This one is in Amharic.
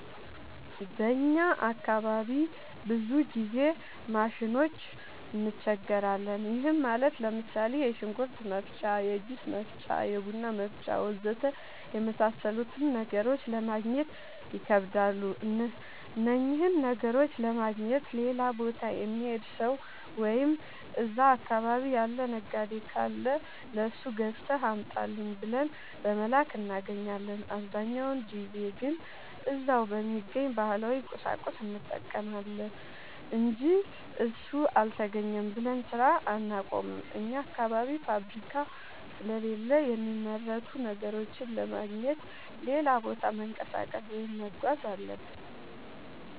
በእኛ አካባቢ ብዙ ጊዜ ማሽኖች እንቸገራለን። ይህም ማለት ለምሳሌ፦ የሽንኩርት መፍጫ፣ የጁስ መፍጫ፣ የቡና መፍጫ.... ወዘተ የመሣሠሉትን ነገሮች ለማገግኘት ይከብዳሉ። እነኝህን ነገሮች ለማግኘት ሌላ ቦታ የሚሄድ ሠው ወይም እዛ አካባቢ ያለ ነጋዴ ካለ ለሱ ገዝተህ አምጣልኝ ብለን በመላክ እናገኛለን። አብዛኛውን ጊዜ ግን እዛው በሚገኝ ባህላዊ ቁሳቁስ እንጠቀማለን አንጂ እሱ አልተገኘም ብለን ስራ አናቆምም። አኛ አካባቢ ፋብሪካ ስለሌለ የሚመረቱ ነገሮችን ለማግኘት ሌላ ቦታ መንቀሳቀስ ወይም መጓዝ አለብን።